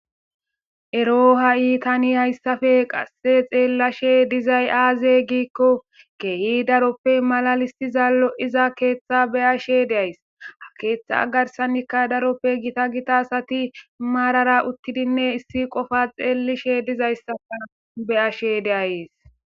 ero ha7iitani hayssafe qasse xeellashe dizay aaze giikko keehi daroppe malalissiza lo7iza keeththa beyashe deays ha keeththa agarsanikka daroppe gita gita asati maarara uttidinne issi qofa xeelishe dizayssafa beyashe de'ayees